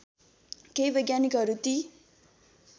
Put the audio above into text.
केही वैज्ञानिकहरू ती